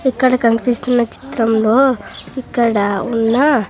ఇక్కడ కన్పిస్తున్న చిత్రంలో ఇక్కడ ఉన్న--